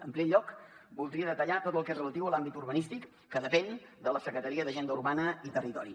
en primer lloc voldria detallar tot el que és relatiu a l’àmbit urbanístic que depèn de la secretaria de l’agenda urbana i territori